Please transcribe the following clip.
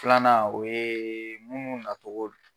Filanan o ye munnu natogo